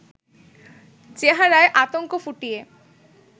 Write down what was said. চেহারায় আতঙ্ক ফুটিয়ে